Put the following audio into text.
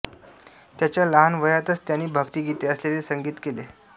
त्याच्या लहान वयातच त्यांनी भक्तीगीते असलेले संगीत केले